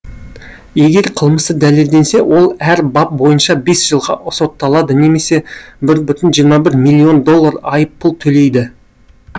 егер қылмысы дәлелденсе ол әр бап бойынша бес жылға сотталады немесе бір бүтін жиырма бір миллион доллар айыппұл төлейді